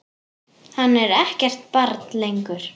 Hann er ekkert barn lengur.